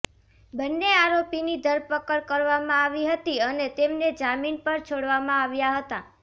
બન્ને આરોપીની ધરપકડ કરવામાં આવી હતી અને તેમને જામીન પર છોડવામાં આવ્યા હતા